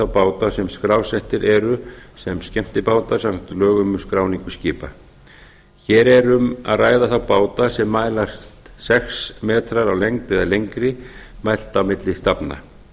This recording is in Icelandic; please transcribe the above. báta sem skrásettir eru sem skemmtibátar samkvæmt lögum um skráningu skipa hér er um að ræða þá báta sem mælast sex metrar á lengd eða lengri mælt á milli stafna